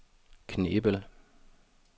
Knebel